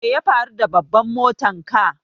Me ya faru da bambar motan ka?